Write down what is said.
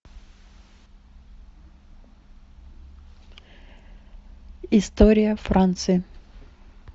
история франции